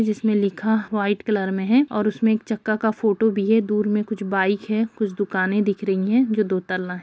जिसमें लिखा white colour में है और उसमें चक्का का फोटो भी है दूर में कुछ बाइक है कुछ दुकानें दिख रही हैं जो दो तल्ला हैं।